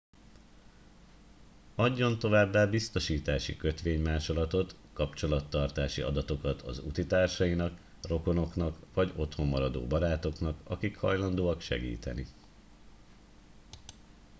adjon továbbá biztosítási kötvénymásolatot/kapcsolattartási adatokat az útitársainak rokonoknak vagy otthon maradó barátoknak akik hajlandóak segíteni